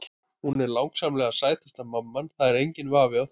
Hún er langsamlega sætasta mamman, það er enginn vafi á því.